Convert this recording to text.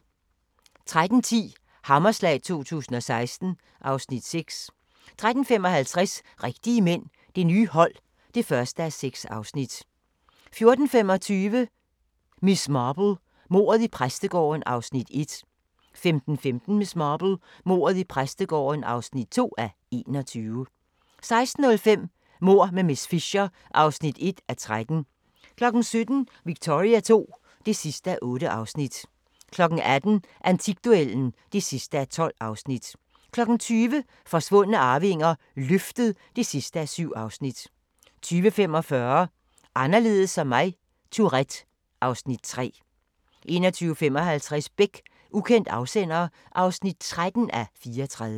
13:10: Hammerslag 2016 (Afs. 6) 13:55: Rigtige mænd – Det nye hold (1:6) 14:25: Miss Marple: Mordet i præstegården (1:21) 15:15: Miss Marple: Mordet i præstegården (2:21) 16:05: Mord med miss Fisher (1:13) 17:00: Victoria II (8:8) 18:00: Antikduellen (12:12) 20:00: Forsvundne arvinger: Løftet (7:7) 20:45: Anderledes som mig - Tourette (Afs. 3) 21:55: Beck: Ukendt afsender (13:34)